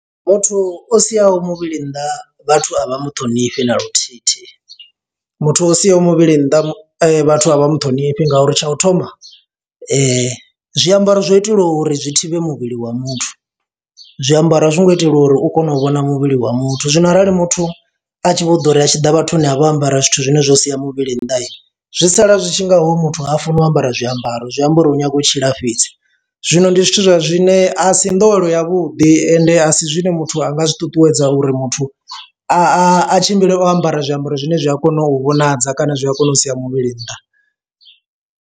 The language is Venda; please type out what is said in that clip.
Muthu u siho muvhili nnḓa vhathu a vha mu ṱhonifhi na luthihi thi, muthu wa u siho muvhili nnḓa vhathu a vha mu ṱhonifhi ngauri tsha u thoma zwiambaro zwo itelwa uri zwi thivhe muvhili wa muthu zwiambaro a zwi ngo itelwa uri u kone u vhona muvhili wa muthu, zwino arali muthu a tshi vho ḓo uri a tshi ḓa vhathuni a vha ambara zwithu zwine zwa sia muvhili nnḓa zwi sala zwi tshi ngaho muthu ha funi o ambara zwiambaro zwi amba uri u nyaga u tshila fhedzi. Zwino ndi zwithu zwa zwine a si nḓowelo ya vhuḓi ende a si zwine muthu anga zwi ṱuṱuwedza uri muthu a a tshimbile o ambara zwiambaro zwine zwi a kona u vhonadza kana zwi a kona u sia muvhili nnḓa.